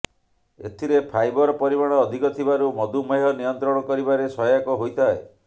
ଏଥିରେ ଫାଇବର ପରିମାଣ ଅଧିକ ଥିବାରୁ ମଧୁମେହ ନିୟନ୍ତ୍ରଣ କରିବାରେ ସହାୟକ ହୋଇଥାଏ